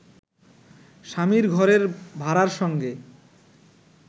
স্বামীর ঘরের ভাড়ার সঙ্গে